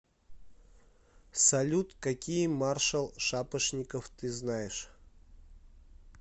салют какие маршал шапошников ты знаешь